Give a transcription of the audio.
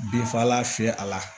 Binfagalan fiyɛ a la